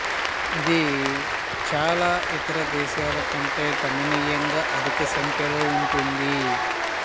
ఇది చాలా ఇతర దేశాల కంటే గణనీయంగా అధిక సంఖ్యలో ఉంటుంది